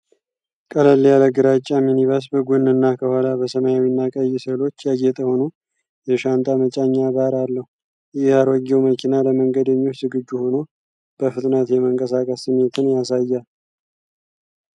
ቀለል ያለ ግራጫ ሚኒባስ በጎንና ከኋላ በሰማያዊና ቀይ ስዕሎች ያጌጠ ሆኖ፣ የሻንጣ መጫኛ ባር አለው። ይህ አሮጌው መኪና ለመንገደኞች ዝግጁ ሆኖ በፍጥነት የመንቀሳቀስ ስሜትን ያሳያል።